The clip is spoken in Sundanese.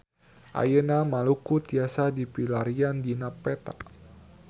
Ayeuna Maluku tiasa dipilarian dina peta